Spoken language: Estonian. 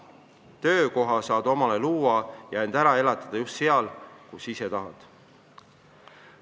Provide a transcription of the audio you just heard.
Töökoha saad endale luua ja end ära elatada just seal, kus ise tahad.